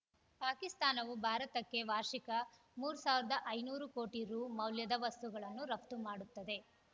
ಪಾಕಿಸ್ತಾನವು ಭಾರತಕ್ಕೆ ವಾರ್ಷಿಕ ಮೂರು ಸಾವಿರದ ಐನೂರು ಕೋಟಿ ರು ಮೌಲ್ಯದ ವಸ್ತುಗಳನ್ನು ರಫ್ತು ಮಾಡುತ್ತದೆ